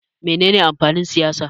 Me ne ne amfanin siyasa?